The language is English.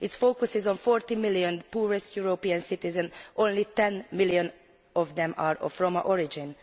It focuses on 40 million of the poorest European citizens, only 10 million of whom are of Roma origin.